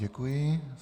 Děkuji.